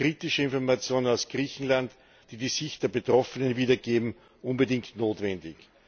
Daher sind kritische Informationen aus Griechenland, die die Sicht der Betroffenen wiedergeben, unbedingt notwendig.